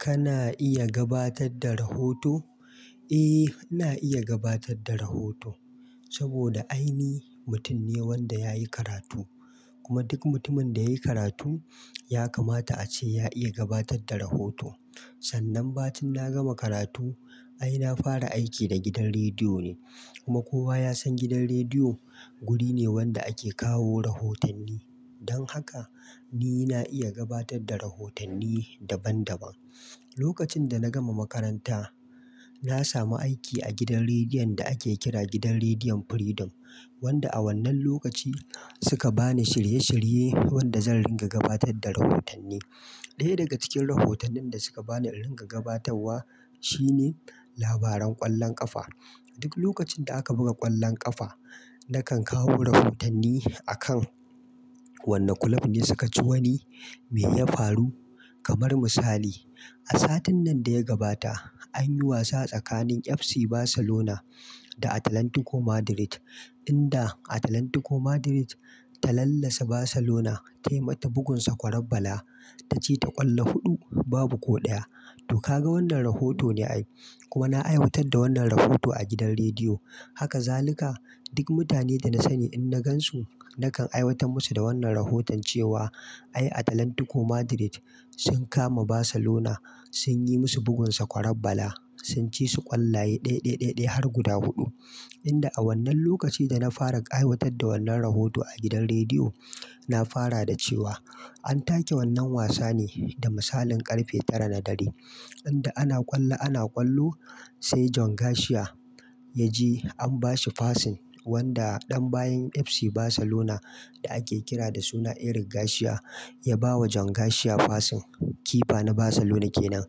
Kana iya gabatar da rahoto? Eh, ina iya gabatar da rahoto saboda ai ni mutum ne wanda yayi karatu. Kuma duk mutumin da yayi karatu ya kamata a ce ya iya gabatar da rahoto. Sannan, ba tin na gama karatu, ai na fara aiki da gidan rediyo ne. Kuma kowa ya san gidan rediyo guri ne wanda ake kawo rahotanni. Don haka, ni na iya gabatar da rahotanni daban daban. Lokacin da na gama makaranta, na samu aiki a gidan rediyon da ake kira Gidan Rediyon Freedom, wanda a wannan lokaci suka ba ni shirye shirye wanda zan ringa gabatar da rahotanni. Ɗaya daga cikin rahotannin da suka ba ni in ringa gabatarwa shine labaran ƙwallon ƙafa. Duk lokacin da aka buga ƙwallon ƙafa, na kan kawo rahotanni a kan, "Wanne kulob ne suka ci wani, me ya faru?" kamar misali, a satin nan da ya gabata an yi wasa tsakanin FC Barcelona da Atlantico Madrid, inda Atlantico Madrid ta lallasa Barcelona ta yi mata bugun sakwararbala. Ta ci ta ƙwallo huɗu, babu ko ɗaya. To, ka ga wannan rahoto ne ai. Kuma na aiwatar da wannan rahoto a gidan rediyo. Haka zaluka, duk mutane da na sani in na gan su, na kan aiwatar musu da wannan rahoton cewa ai Atlantico Madrid sun kama Barcelona, sun yi musu bugun sakwararbala, sun ci su ƙwallaye ɗeɗeɗeɗe har guda huɗu. Inda a wannan lokaci da na fara aiwatar da wannan rahoto a gidan rediyo, na fara da cewa an take wannan wasa ne da misalin ƙarfe tara na dare, inda ana ƙwallo ana ƙwallo sai John Garcia ya ji an bashi fasin wanda ɗan bayan FC Barcelona da ake kira da suna Eric Garcia ya bawa John Garcia fasin. Kipa na Barcelona kenan,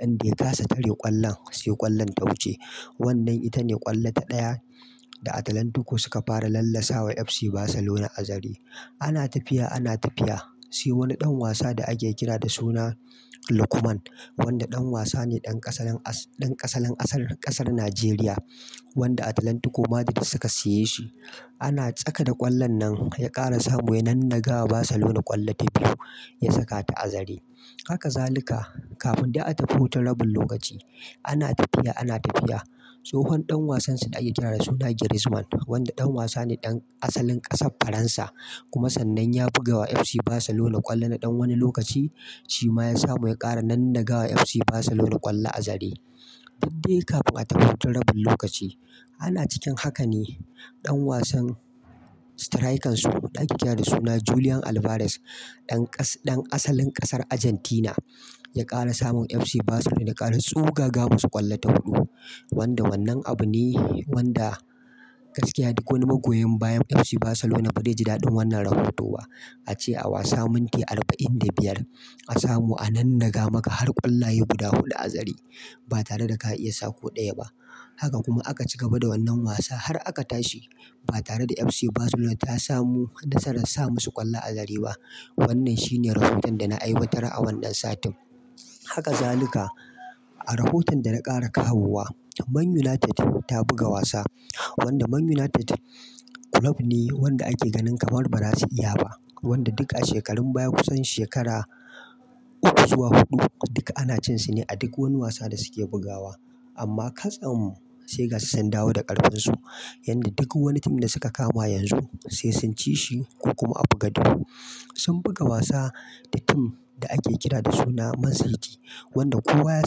inda ya kasa tare ƙwallon, sai ƙwallon ta wuce. Wannan ita ne ƙwallo ta ɗaya da Atlantico suka fara lallasawa FC Barcelona a zare. Ana tafiya ana tafiya, sai wani ɗan wasa da ake kira da suna Lukman, wanda ɗan wasa ne ɗan ƙasalen asar- ƙasar Najeriya wanda Atlantico Madrid suka siye shi. Ana tsaka da ƙwallon nan ya ƙara samu ya nannaga wa Barcelona ƙwallo ta biyu, ya saka ta a azare. Haka zaluka, kafin dai a tafi hutun rabin lokaci, ana tafiya ana tafiya tsohon ɗan wasan su da ake kira da suna Griezmann, wanda ɗan wasa ne ɗan asalin ƙasar Faransa. Kuma sannan ya buga wa FC Barcelona ƙwallo na ɗan wani lokaci, shi ma ya samu ya ƙara nannaga wa FC Barcelona ƙwallo azare. Duk dai kafin a tafi hutun rabin lokaci. Ana cikin haka ne ɗan wasan strikan su da ake kira da suna Julian Alvarez, ɗan ƙas-ɗan asalin ƙasar Argentina ya ƙara samun FC Barcelona ya ƙara tsugaga musu ƙwallo ta huɗu. Wanda wannan abu ne wanda gaskiya duk wani magoya bayan FC Barcelona ba dai ji daɗin wannan rahoto ba. A ce a wasa minti arba'in da biyar a samu a nannega maka har ƙwallaye guda huɗu azare. Ba tare da ka iya sa ko ɗaya ba. Haka kuma aka ci gaba da wannan wasa har aka tashi. Ba tare da FC Barcelona ta samu nasarar sa musu ƙwallo azare ba. Wannan shi ne rahoton da na aiwatar a wannan satin. Haka zaluka, a rahoton da na ƙara kawowa, Man United ta buga wasa wanda Man United kulob ne wanda ake ganin kamar ba za su iya ba. Wanda duk a shekarun baya kusan shekara uku zuwa huɗu duka ana cin su ne a duk wani wasa da suke bugawa. Amma ka tsam, sai gashi sun dawo da ƙarfinsu, yanda duk wani tim da suka kama yanzu sai sun ci shi ko kuma a buga dro. Sun buga wasa da tim da ake kira da suna Man City, wanda kowa ya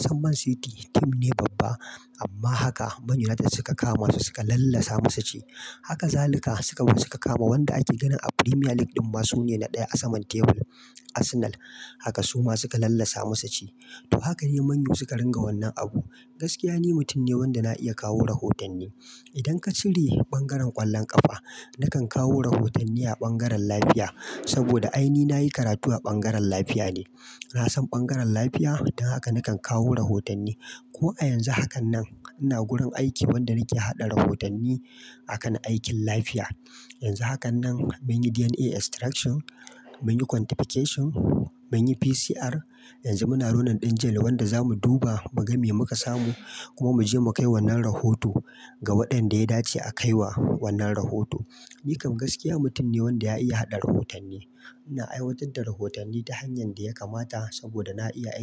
san Man City tim ne babba. Amma haka Man United suka kama su suka lallasa musu ci. Haka zaluka suka zo suka kama wanda ake ganin a Premier League ɗin ma su ne na ɗaya a saman tebur, Arsenal. Haka suma suka lallasa musu ci. To, haka dai Man U suka ringa wannan abu. Gaskiya ni mutum ne wanda na iya kawo rahotanni. Idan ka cire bangaren ƙwallon ƙafa, na kan kawo rahotanni a bangaren lafiya saboda ai ni na yi karatu a bangaren lafiya ne. Na san bangaren lafiya don haka na kan kawo rahotanni. Ko a yanzu hakan nan ina gurin aiki wanda nake haɗa rahotanni akan aikin lafiya. Yanzu hakan nan mun yi DNA extraction, mun yi quantification, mun yi PCR, yanzu muna ronin ɗin jail wanda za mu duba mu ga me muka samu kuma mu je mu kai wannan rahoto ga waɗanda ya dace a kai wa wannan rahoto. Ni kam gaskiya mutum ne wanda ya iya haɗa rahotanni. Ina aiwatar da rahotanni ta hanyar da ya kamata saboda na iya aiki.